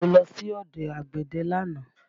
Mo lọ sí ọ̀dọ̀ àgbẹ̀dẹ lánàá